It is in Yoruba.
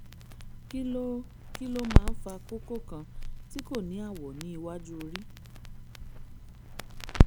kí ló kí ló máa ń fa kókó kan tí kò ní àwọ̀ ní iwájú orí?